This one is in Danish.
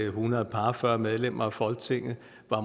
hundrede og fyrre medlemmer af folketinget